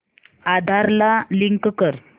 आधार ला लिंक कर